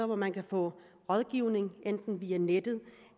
hvor man kan få rådgivning enten via nettet